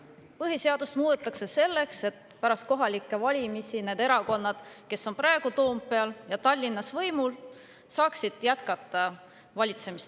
Põhiseadust muudetakse selleks, et pärast kohalikke valimisi need erakonnad, kes on praegu Toompeal ja Tallinnas võimul, saaksid jätkata Tallinnas valitsemist.